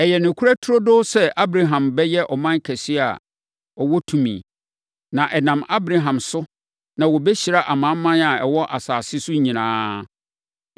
Ɛyɛ nokorɛ turodoo sɛ Abraham bɛyɛ ɔman kɛseɛ a ɛwɔ tumi. Na ɛnam Abraham so na wɔbɛhyira amanaman a ɛwɔ asase so nyinaa.